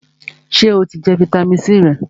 Sè o ti jẹ fitamisi C rẹ?